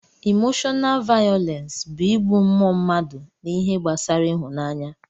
Imoshọnaal vayọlensi bụ ịgbụ mmụọ mmadụ na ihe gbasara ịhụnaanya